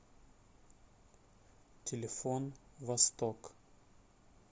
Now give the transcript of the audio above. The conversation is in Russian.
телефон восток